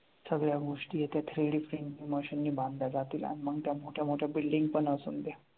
सगळया गोष्टी त्या three D printing machine नी बांधल्या जातील आणि मग त्या मोठ्या मोठ्या building पण असू द्या.